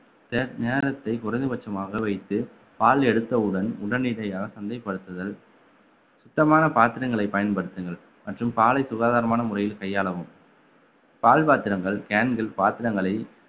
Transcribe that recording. சே~ நேரத்தை குறைந்தபட்சமாக வைத்து பால் எடுத்தவுடன் உடனடியாக சந்தைப்படுத்துதல் சுத்தமான பாத்திரங்களை பயன்படுத்துங்கள் மற்றும் பாலை சுகாதாரமான முறையில் கையாளவும் பால் பாத்திரங்கள் can கள் பாத்திரங்களை